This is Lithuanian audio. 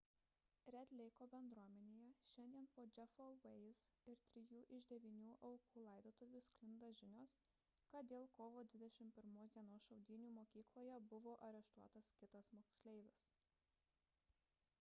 red leiko bendruomenėje šiandien po jeffo weise ir trijų iš devynių aukų laidotuvių sklinda žinios kad dėl kovo 21 d šaudynių mokykloje buvo areštuotas kitas moksleivis